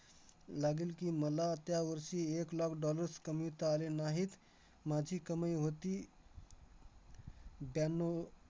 लागंल की, मला त्यावर्षी एक लाख dollars कमविता आले नाहीत. माझी कमाई होती ब्याण्णव